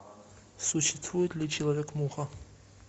существует ли человек муха